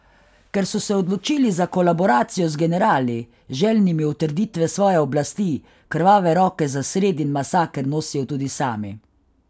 Ker so se odločili za kolaboracijo z generali, željnimi utrditve svoje oblasti, krvave roke za sredin masaker nosijo tudi sami.